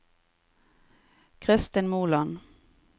Christin Moland